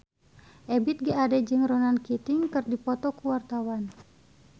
Ebith G. Ade jeung Ronan Keating keur dipoto ku wartawan